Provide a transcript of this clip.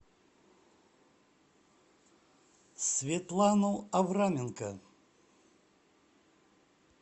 светлану авраменко